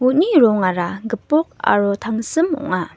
uni rongara gipok aro tangsim ong·a.